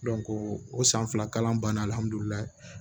o san fila kalan banna alihamdulila